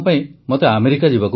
ମୋର ପ୍ରିୟ ଦେଶବାସୀଗଣ ନମସ୍କାର